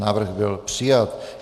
Návrh byl přijat.